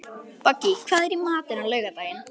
Bogey, hvað er í matinn á laugardaginn?